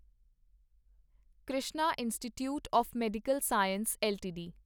Krishna institute of medical science LTD